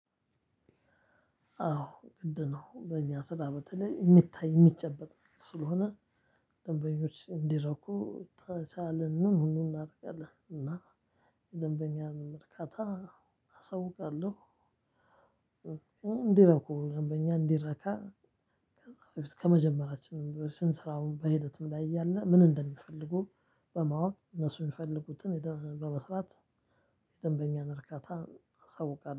አዎ ግድ ነው በእኛ ስራ በተለይ እሚታይ እሚጨበጥ ስለሆነ። ደንበኞች እንዲረኩ ተቻለንን ሁሉ እናረጋለን እና ደንበኛን ርካታ አሳውቃለሁ። እንዲረኩ ደበኛ እንዲረካ። ከመጀመራችን ስራውን በሂደትም ላይ እያለ ምን እንደሚፈልጉ? በማወቅ እነሱ የሚፈልጉትን ሄደን በመስራት የደንበኛን እርካታ አሳውቃለሁ